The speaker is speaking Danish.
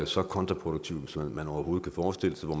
så kontraproduktiv som man overhovedet kan forestille sig hvor